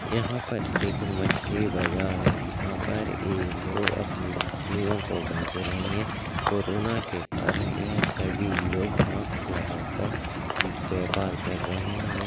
यहां पर एक मछली बाजार है यहां ये लोग अपनी मछलियों को बेच रहे है कोरोना के कारण ये सभी लोग मास्क लगा कर व्यापर कर रहे है।